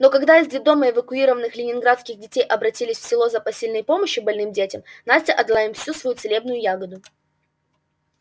но когда из детдома эвакуированных ленинградских детей обратились в село за посильной помощью больным детям настя отдала им всю свою целебную ягоду